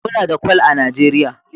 Muna da Kwal a Najeriya